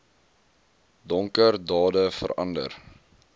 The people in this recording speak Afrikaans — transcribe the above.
donker dade verander